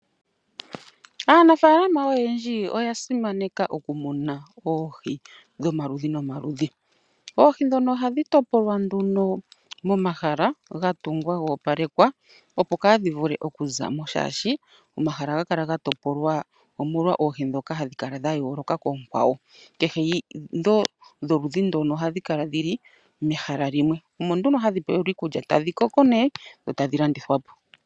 Aanafaalama oyendji oya simaneka okumuna oohi dhomaludhi nomaludhi . Oohi ndhono ohadhi topolwa nduno momahala ga tungwa ga opalekwa opo kadhi vule okuzamo oshoka omahala ohaga kala ga topolwa omolwa oohi ndhoka hadhi kala yooloka koonkwawo ,kehe oludhi ohali kala li ikalekelwa. Omo nduno hadhi pewelwa iikulya tadhi koko nee dho tadhi landithwapo.